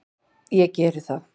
Ég geri það!